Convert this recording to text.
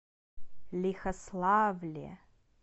лихославле